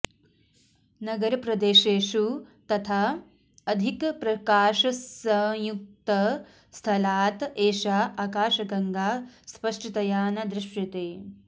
नगरप्रदेशेषु तथा अधिकप्रकाशसंयुक्तस्थलात् एषा आकाशगङ्गा स्पष्टतया न दृश्यते